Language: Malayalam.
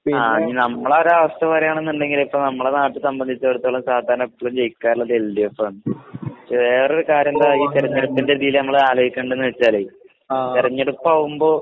ആഹ് ഇനി നമ്മളൊരാവസ്ഥ പറയാണ്ന്ന്ണ്ടെങ്കില് ഇപ്പൊ നമ്മളെ നാട്ടീ സംബന്ധിച്ചിടത്തോളം സാധാരണ എപ്പഴും ജയിക്കാറിള്ളത് എൽഡിഎഫാണ്. വേറൊരു കാര്യെന്താച്ചഴിഞ്ഞാൽ ഇതിന്റിതില് നമ്മളാലോയ്‌ക്കണ്ടേന്നെച്ചാലേ തെരഞ്ഞെടുപ്പാവുമ്പോ